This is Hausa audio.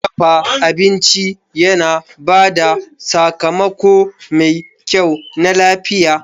Dafa abinci yana ba da sakamako mai kyau na lafiya.